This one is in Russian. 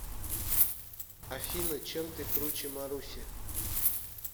афина чем ты круче маруси